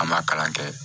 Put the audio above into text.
An ma kalan kɛ